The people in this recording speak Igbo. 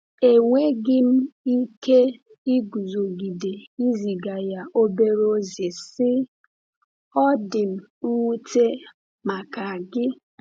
Enweghị m ike iguzogide iziga ya obere ozi, sị: “Ọ dị m nwute maka gị.